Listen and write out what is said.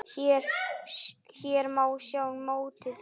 Hér má sjá mótið.